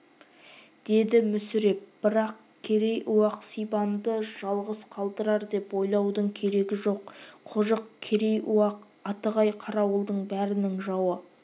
деді мүсіреп бірақ керей-уақ сибанды жалғыз қалдырар деп ойлаудың керегі жоқ қожық керей-уақ атығай-қарауылдың бәрінің жауы